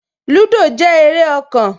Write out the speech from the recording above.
Lúdò jẹ́ eré ọkàn